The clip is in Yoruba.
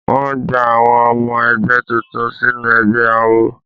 Wọ́n gba àwọn ọmọ ẹgbẹ́ tuntun sínú ẹgbẹ́ awo.